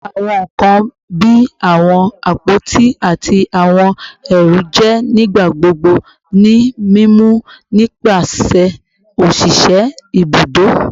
Awọn nkan bii awọn apoti ati awọn ẹru jẹ nigbagbogbo ni mimu nipasẹ oṣiṣẹ ibudo